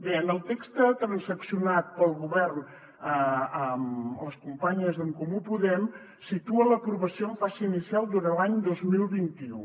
bé el text transaccionat pel govern amb les companyes d’en comú podem situa l’aprovació en fase inicial durant l’any dos mil vint u